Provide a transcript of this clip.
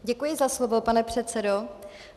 Děkuji za slovo, pane předsedo.